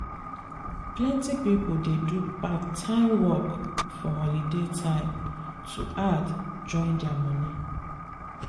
plenty people dey do part time work for holiday time to add join their money.